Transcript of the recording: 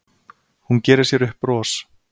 Hún gerir sér upp bros.